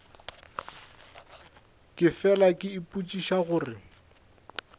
ke fela ke ipotšiša gore